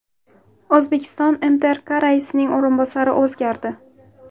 O‘zbekiston MTRK raisining o‘rinbosari o‘zgardi.